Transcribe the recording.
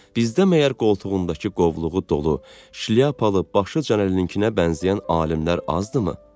Bizdə məgər qoltuğundakı qovluğu dolu, şlyapalı, başı Canəlininkinə bənzəyən alimlər azdırmı?